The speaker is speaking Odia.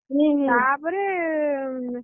ହୁଁ ତାପରେ